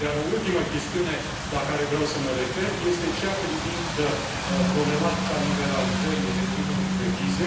O ultimă chestiune la care vreau să mă refer este cea privind problematica liberalizării regimului de vize.